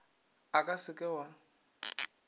o ka se ke wa